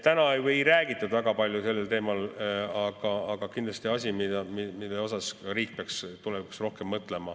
Täna sellel teemal väga palju ei räägitud, aga kindlasti asi, millele riik peaks tulevikus rohkem mõtlema,.